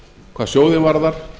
hvað sjóðinn varðar